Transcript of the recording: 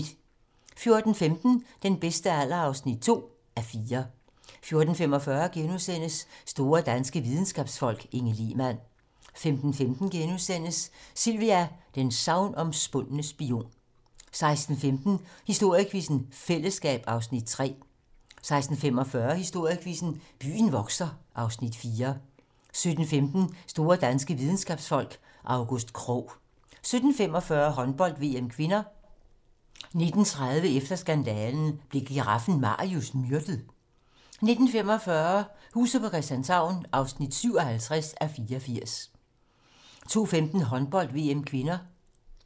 14:15: Den bedste alder (2:4) 14:45: Store danske videnskabsfolk: Inge Lehmann * 15:15: Sylvia: den sagnomspundne spion * 16:15: Historiequizzen: Fællesskab (Afs. 3) 16:45: Historiequizzen: Byen vokser (Afs. 4) 17:15: Store danske videnskabsfolk: August Krogh 17:45: Håndbold: VM (k) 19:30: Efter skandalen - Blev giraffen Marius myrdet? 19:45: Huset på Christianshavn (57:84) 20:15: Håndbold: VM (k)